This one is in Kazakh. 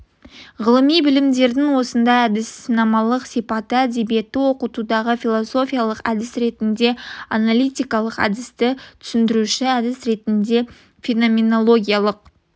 ғылыми білімдердің осындай әдіснамалық сипаты әдебиетті оқытудағы философиялық әдіс ретінде аналитикалық әдісті түсіндіруші әдіс ретінде феноменологиялық